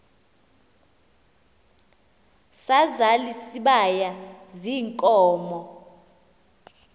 sazal isibaya ziinkomo